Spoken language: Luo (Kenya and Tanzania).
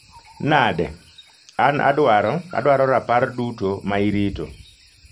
Nade? An adwaro adwaro rapar duto ma irito.